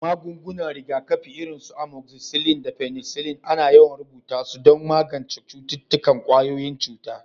Magungunan rigakafi irin su amoxicillin da penicillin ana yawan rubuta su don magance cututtukan ƙwayoyin cuta.